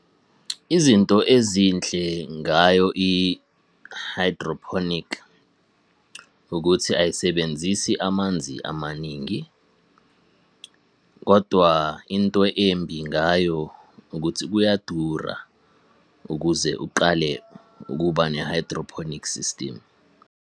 Izinto ezinhle ngayo i-hydroponic ukuthi ayisebenzisi amanzi amaningi, kodwa into embi ngayo ukuthi kuyadura ukuze uqale ukuba ne-hydroponic system.